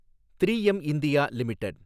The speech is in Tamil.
three M India limited